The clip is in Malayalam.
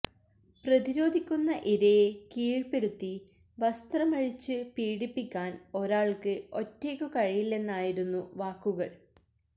പ്രതിരോധിക്കുന്ന ഇരയെ കീഴ്പ്പെടുത്തി വസ്ത്രമഴിച്ച് പീഡിപ്പിക്കാന് ഒരാള്ക്ക് ഒറ്റയ്ക്കു കഴിയില്ലെന്നായിരുന്നു വാക്കുകള്